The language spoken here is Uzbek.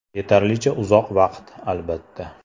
Yetarlicha uzoq vaqt, albatta.